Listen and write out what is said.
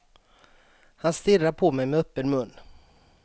Han stirrar på mig med öppen mun.